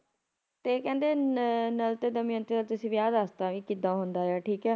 ਤੇ ਕਹਿੰਦੇ ਨ ਨ ਨਲ ਤੇ ਦਮਿਅੰਤੀ ਦਾ ਤੁਸੀ ਵਿਆਹ ਦਸਤਾ ਵੀ ਕਿਦਾਂ ਹੁੰਦਾ ਆ ਠੀਕ ਆ